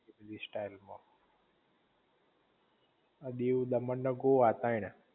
style માં દીવ દમણ ને ગોવા